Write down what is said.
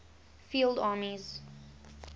field armies